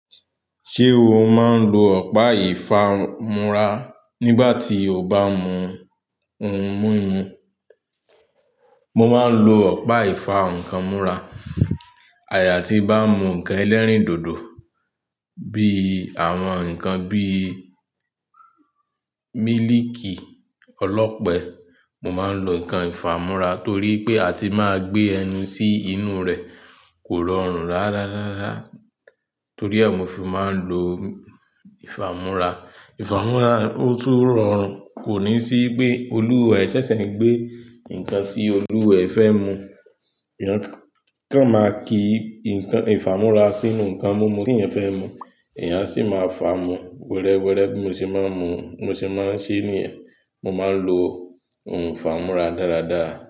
Ṣé o máa ń lo ọ̀pá ìfámú́ra nígbà tí o bá mú ohun mímu? Mo máa ń lo ọ̀pá ìfámú́ra. Àja jà tí mo bá n mú nǹkan ẹlẹ́rìndòdò bí àwọn nǹkan bíi mílìkì ọlọ́pẹ, mo máa ń lo nǹkan ìfámú́ra torí pé a ti máa gbé ẹnu sí inú rẹ̀, kò rọrùn ráá ráá ráá. Torí ẹ mi ò fi máa ń lo ìfámú́ra. Ìfámú́ra ó tún rọrùn, kò ní sí pé olúwaẹ́ ṣẹ̀ṣẹ̀ ń gbé nǹkan tí olúwaẹ́ fẹ́ mu. Eeyan, kan máa ki nkan ìfámú́ra sínú nǹkan mímu tí eeyan fẹ́ mu, èèyàn a sì máa fà á mu wẹ́rẹ́ wẹ́rẹ́, bi mo se máa ń mu, bi mo se máa ń ṣe é níyẹn. Mo máa ń lo ohun ìfámú́ra dáradára.